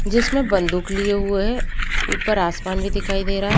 जिसमें बंदूक लिए हुए है। ऊपर आसमान भी दिखाई दे रहा है।